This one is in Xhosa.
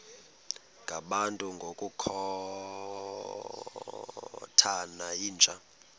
ngabantu ngokukhothana yinja